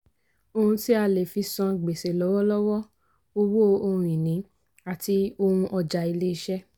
ohun tí a lè fí san gbèsè lọ́wọ́lọ́wọ́: owó ohun-ìní àti ohun ọjà ilé iṣẹ́.